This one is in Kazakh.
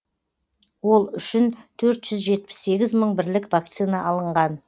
ол үшін төрт жүз жетпіс сегіз мың бірлік вакцина алынған